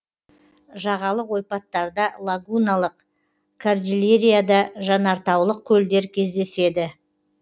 жағалық ойпаттарда лагуналық кордильерада жанартаулық көлдер кездеседі